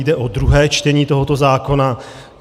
Jde o druhé čtení tohoto zákona.